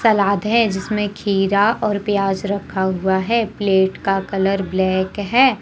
सलाद है जिसमें खीर और प्याज रखा हुआ है प्लेट का कलर ब्लैक है।